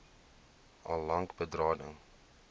al lank berading